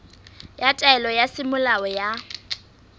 ya taelo ya semolao ya